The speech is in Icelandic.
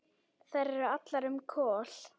Þær eru allar um Kol.